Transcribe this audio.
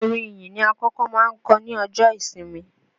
Orin ìyìn ni akọ́kọ́ máa ń kọ ní ọjọ́ ìsinmi